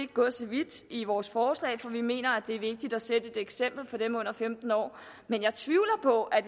gået så vidt i vores forslag for vi mener at det er vigtigt at sætte et eksempel for dem under femten år men jeg tvivler på at